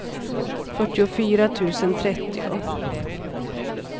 fyrtiofyra tusen trettio